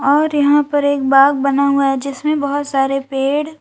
और यहां पर एक बाग बना हुआ है जिसमें बहुत सारे पेड़--